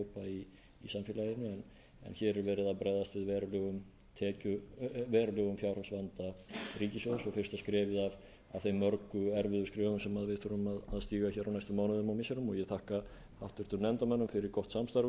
en hér er verið að bregðast við verulegum fjárhagsvanda ríkissjóðs og fyrsta skrefið af þeim mörgu erfiðu skrefum sem við þurfum að stíga hér á næstu mánuðum og missirum og ég þakka háttvirtum nefndarmönnum fyrir gott samstarf um